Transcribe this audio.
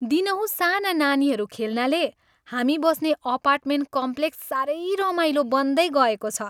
दिनहुँ साना नानीहरू खेल्नाले हामी बस्ने अपार्टमेन्ट कम्प्लेक्स सारै रमाइलो बन्दैगएको छ।